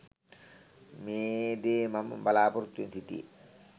මේදේ මම බලාපොරොත්තුවෙන් සිටියෙ